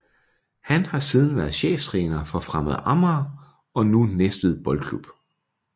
Han har siden været cheftræner for Fremad Amager og nu Næstved Boldklub